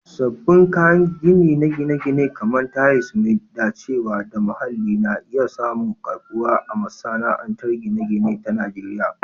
Sabbin kayan gini na gine-gine, kamar tayal mai dacewa da muhalli, na iya samun karbuwa a masana'antar gine-gine ta Najeriya.